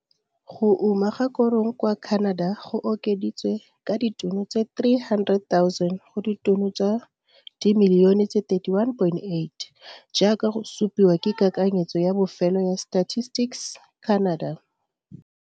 Go uma ga korong kwa Kanada go okeditswe ka ditono tse 300,000 go ditono tsa dimilione tse 31,8, jaaka go supiwa ke kakanyetso ya bofelo ya Statistics Canada.